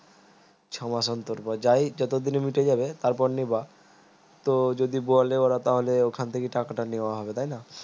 ছমাস অন্তর বা যায় যত দিনে মিটে যাবে তার পর নিবা তো যদি বলে ওরা তাহলে ওখান থেকে টাকাটা নেওয়া হবে তাই না